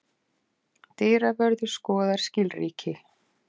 Dyravörður skoðar skilríki.